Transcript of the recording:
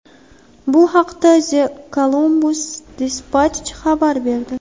Bu haqda The Columbus Dispatch xabar berdi .